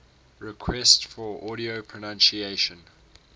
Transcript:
requests for audio pronunciation